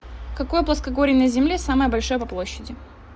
какое плоскогорье на земле самое большое по площади